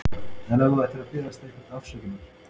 En ef þú ættir að biðja einhvern afsökunar?